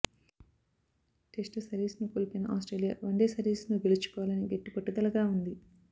test సిరీస్ను కోల్పోయిన Australia one day సిరీస్ను గెలుచుకోవాలని గట్టి పట్టుదలగా ఉంది